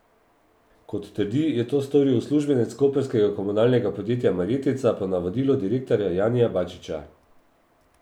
Kot trdi, je to storil uslužbenec koprskega komunalnega podjetja Marjetica po navodilu direktorja Janija Bačića.